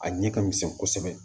A ɲɛ ka misɛn kosɛbɛ